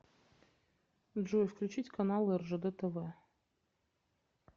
джой включить каналы ржд тв